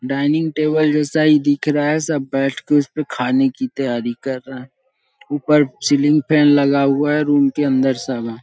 Dining table जैसा ही दिख रहा हैं। सब बैठ के उस पे खाने की तैयारी कर रहे हैं उपर सीलिंग फैन लगा हुआ हैं। रूम के अंदर सब है।